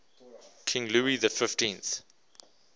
king louis xiv